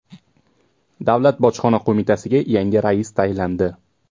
Davlat bojxona qo‘mitasiga yangi rais tayinlandi.